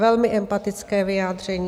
Velmi empatické vyjádření.